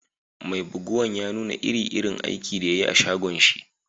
Mai buguwan ya nuna iri-irin aikin da ya yi a'shagon shi.